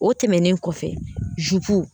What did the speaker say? O tɛmɛnen kɔfɛ zupu